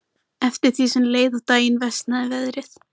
Hún var komin í bolinn aftur.